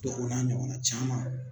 Dɔ o n'a ɲɔgɔnna caaman